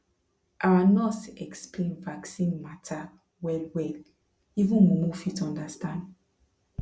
our nurse explain vaccine matter wellwell even mumu fit understand